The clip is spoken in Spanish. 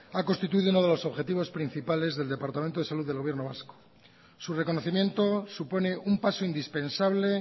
ha constituido uno de los objetivos principales del departamento de salud del gobierno vasco su reconocimiento supone un paso indispensable